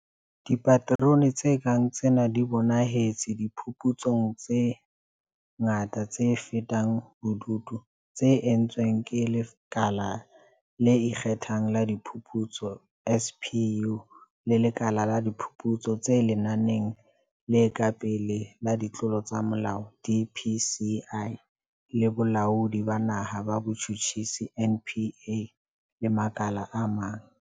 Dipaterone tse kang tsena di bonahetse diphuputsong tse ngata tse fatang bobodu tse entsweng ke Lekala le Ikge thang la Diphuputso SPU, le Lekala la Diphuputso tse Lenaneng le Ka Pele la Ditlolo tsa Molao DPCI, le Bolaodi ba Naha ba Botjhutjhisi NPA le makala a mang.